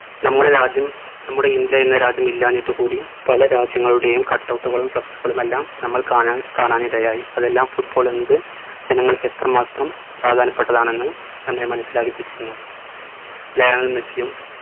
നമ്മുടെ രാജ്യം നമ്മുടെ ഇന്ത്യ എന്ന രാജ്യം ഇല്ലാഞ്ഞിട്ടു കൂടി പലരാജ്യങ്ങളുടെയും cut out കളും flex കളും എല്ലാം നമ്മൾ കാണാൻ കാണാനിടയായി അതെല്ലാം football എന്നത് ജനങ്ങൾക്ക് എത്രമാത്രം പ്രധാനപ്പെട്ടതാണെന്ന് നമ്മെ മനസിലാക്കിപ്പിക്കുന്നു ലയണൽ മെസ്സിയും